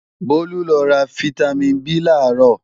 Bólú lọ ra fítámìn B làárọ̀